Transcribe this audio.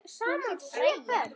Hún hét Freyja.